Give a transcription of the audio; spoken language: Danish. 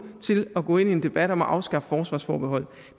til at gå ind i en debat om at afskaffe forsvarsforbeholdet